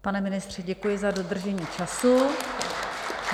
Pane ministře, děkuji za dodržení času.